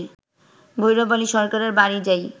তৈয়ব আলী সরকারের বাড়ি যাই